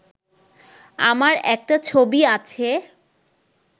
আমার একটা ছবি আছে